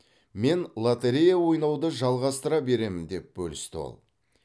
мен лоторея ойнауды жалғастыра беремін деп бөлісті ол